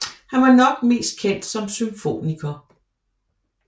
Han var nok mest kendt som symfoniker